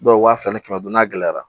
Dɔw wa fila ni kɛmɛ duuru n'a gɛlɛyara